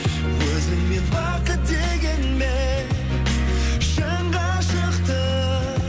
өзіңмен бақыт дегенмен шын ғашықтық